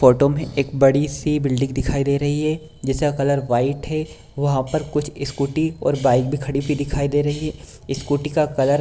photo में एक बड़ी सी बिल्डिंग दिखाई दे रही है जिसका कलर वाइट है वहाँ पर कुछ स्कूटी और बाइक भी खड़ी हुई दिखाई दे रही हैं स्कूटी का कलर --